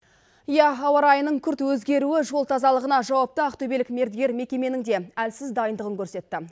иә ауа райының күрт өзгеруі жол тазалығына жауапты ақтөбелік мердігер мекеменің де әлсіз дайындығын көрсетті